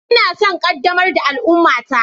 Ina son ƙaddamar da al'ummata.